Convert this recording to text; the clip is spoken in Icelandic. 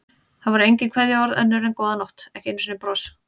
Það voru engin kveðjuorð önnur en góða nótt, ekki einu sinni bros.